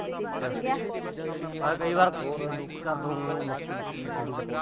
ਅੱਛਾ। ਮੈਂ ਕਈ ਵਾਰ ਮੱਕੀ ਮੁੱਕੀ ਬੀਜੀ ਹੋਵੇ।